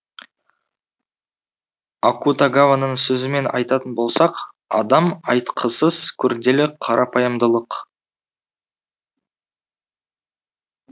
акутагаваның сөзімен айтатын болсақ адам айтқысыз күрделі қарапайымдылық